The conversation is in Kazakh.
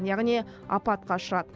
яғни апатқа ұшырады